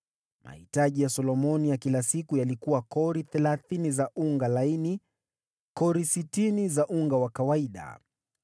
Mahitaji ya Solomoni ya kila siku yalikuwa kori thelathini za unga laini, kori sitini za unga wa kawaida.